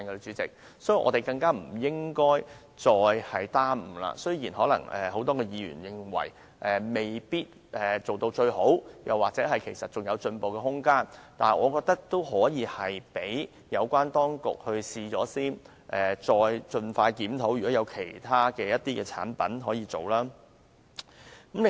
所以，我們更不應再耽誤，雖然可能很多議員認為計劃未做到最好或還有進步空間，但我覺得可以讓有關當局試行，再盡快檢討是否有其他產品可以涵蓋在內。